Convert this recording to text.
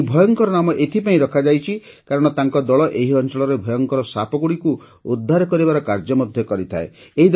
ଏହି ଭୟଙ୍କର ନାମ ଏଇଥିପାଇଁ ରଖାଯାଇଛି କାରଣ ତାଙ୍କ ଦଳ ଏହି ଅଞ୍ଚଳରେ ଭୟଙ୍କର ସାପଗୁଡ଼ିକୁ ଉଦ୍ଧାର କରିବାର କାର୍ଯ୍ୟ ମଧ୍ୟ କରିଥାଏ